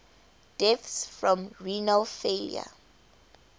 deaths from renal failure